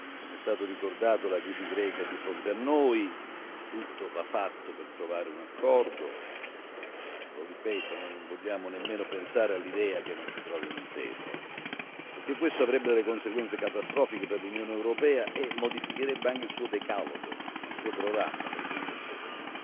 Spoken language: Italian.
Come è stato ricordato la crisi greca è di fronte a noi, tutto va fatto per trovare un accordo. Lo ripeto noi non vogliamo nemmeno pensare all'idea che non si trovi un'intesa, perché questo avrebbe delle conseguenze catastrofiche per l'Unione europea e modificherebbe anche il suo programma per certi aspetti.